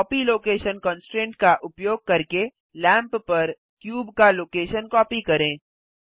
copy location constraint का उपयोग करके लैंप पर क्यूब का लोकेशन कॉपी करें